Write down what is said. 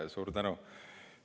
Suur tänu!